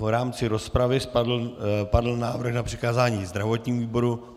V rámci rozpravy padl návrh na přikázání zdravotnímu výboru.